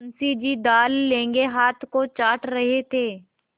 मुंशी जी दाललगे हाथ को चाट रहे थे